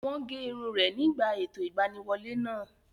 Wọ́n gé irun rẹ̀ nígbà ètò ìgbaniwọlé náà